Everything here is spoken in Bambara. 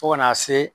Fo ka n'a se